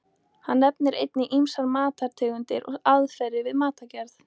Hann nefnir einnig ýmsar matartegundir og aðferðir við matargerð.